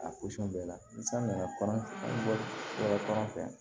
A bɛɛ la ni san nana bɔra kɔnɔ fɛ